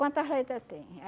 Quantas letra tem?